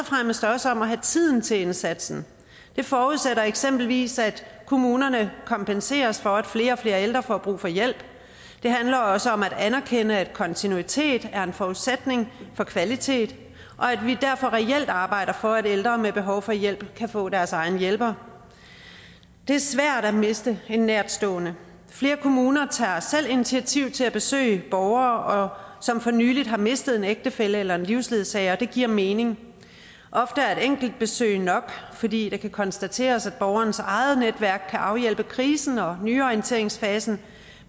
fremmest også om at have tiden til indsatsen det forudsætter eksempelvis at kommunerne kompenseres for at flere og flere ældre får brug for hjælp det handler også om at anerkende at kontinuitet er en forudsætning for kvalitet og at vi derfor reelt arbejder for at ældre med behov for hjælp kan få deres egen hjælper det er svært at miste en nærtstående flere kommuner tager selv initiativ til at besøge borgere som for nylig har mistet en ægtefælle eller en livsledsager og det giver mening ofte er et enkelt besøg nok fordi det kan konstateres at borgerens eget netværk kan afhjælpe krisen og nyorienteringsfasen